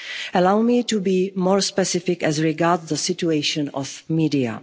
Hungary. Allow me to be more specific as regards the situation